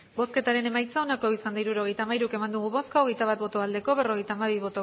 hirurogeita hamairu eman dugu bozka hogeita bat bai berrogeita hamabi